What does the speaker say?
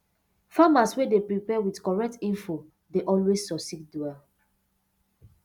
farmers wey dey prepare with correct info dey always succeed well